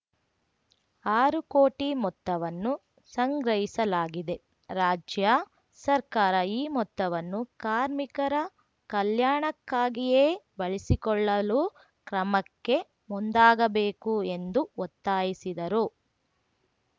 ಆರು ಕೋಟಿ ಮೊತ್ತವನ್ನು ಸಂಗ್ರಹಿಸಲಾಗಿದೆ ರಾಜ್ಯ ಸರ್ಕಾರ ಈ ಮೊತ್ತವನ್ನು ಕಾರ್ಮಿಕರ ಕಲ್ಯಾಣಕ್ಕಾಗಿಯೇ ಬಳಸಿಕೊಳ್ಳಲು ಕ್ರಮಕ್ಕೆ ಮುಂದಾಗಬೇಕು ಎಂದು ಒತ್ತಾಯಿಸಿದರು